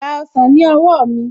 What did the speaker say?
Gba ọsàn ní owó mi